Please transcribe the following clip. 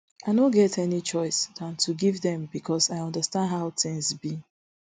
i no get any choice dan to give dem becos i understand how tins be